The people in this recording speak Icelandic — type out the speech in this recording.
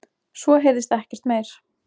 Svo heyrðist ekkert meir.